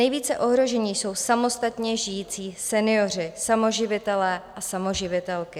Nejvíce ohrožení jsou samostatně žijící senioři, samoživitelé a samoživitelky.